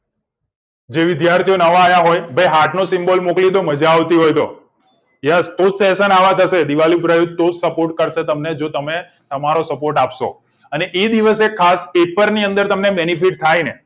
જે વિદ્યાર્થીઓ નવા હોય તો ભઈ heart નો symbol મોકલી દો મજા આવતી હોય તો યશ તું session આવા થશે દિવાળી જો તમે તમારો support આપશો અને એ દિવસે ખાસ પેપર ની અંદર benefit થાય ને